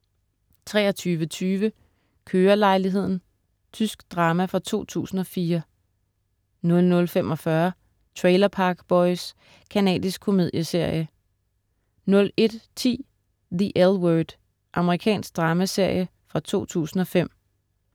23.20 Kørelejligheden. Tysk drama fra 2004 00.45 Trailer Park Boys. Canadisk komedieserie 01.10 The L Word. Amerikansk dramaserie fra 2005